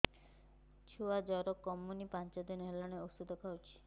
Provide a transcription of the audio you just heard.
ଛୁଆ ଜର କମୁନି ପାଞ୍ଚ ଦିନ ହେଲାଣି ଔଷଧ ଖାଉଛି